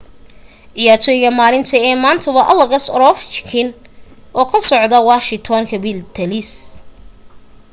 ciyaartoyga maalinta ee maanta waa alex overchkin oo ka socda washington capitals